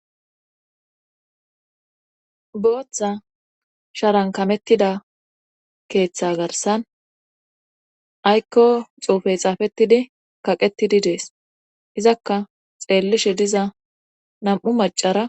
booththa sharankamettida keeththa garsan aykko xuufey xaafettidi kaqettidi dees izakka xeellishe diza nam7u macara